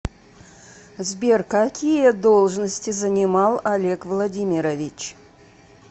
сбер какие должности занимал олег владимирович